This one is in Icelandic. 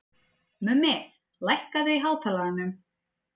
Mummi, lækkaðu í hátalaranum.